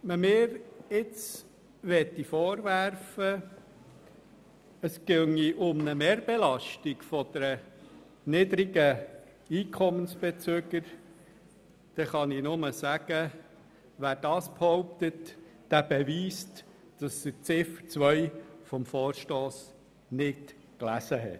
Wer mir jetzt vorwerfen wollte, es gehe um eine Mehrbelastung der niedrigen Einkommensbezüger, dem kann ich nur sagen, er beweist, dass er Ziffer 2 des Vorstosses nicht gelesen hat.